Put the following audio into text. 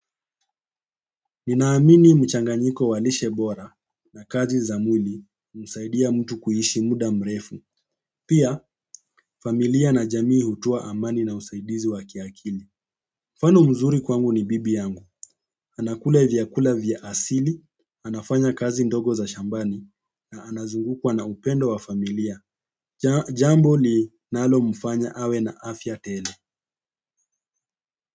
Ninaamini mchanganyiko wa lishe bora na kazi za mwili humsaidia mtu kuishi muda mrefu. Pia familia na jamii hutoa amani na usaidizi wa kiakili. Mfano mzuri kwangu ni bibi yangu. Anakula vyakula vya asili, anafanya kazi ndogo za shambani na anazungukwa na upendo wa familia. Jambo linalomfanya awe na afya tele.